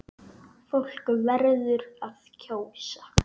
Fólk verður að kjósa!